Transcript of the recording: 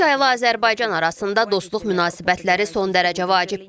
Rusiya ilə Azərbaycan arasında dostluq münasibətləri son dərəcə vacibdir.